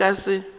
o be o ka se